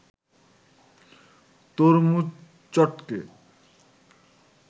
তরমুজ চটকে